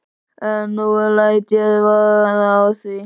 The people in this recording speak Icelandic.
En nú læt ég verða af því.